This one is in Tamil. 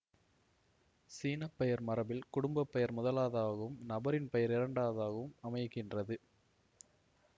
சீன பெயர் மரபில் குடும்ப பெயர் முதலாதகவும் நபரின் பெயர் இரண்டாவதாகவும் அமைகின்றது